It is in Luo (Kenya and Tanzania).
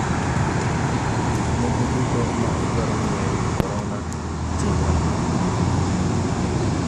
Gik moko duto ma idwaro ng'eyo ewi korona 4.